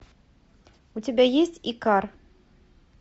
у тебя есть икар